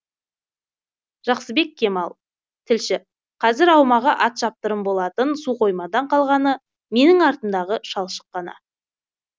жақсыбек кемал тілші қазір аумағы ат шаптырым болатын су қоймадан қалғаны менің артымдағы шалшық қана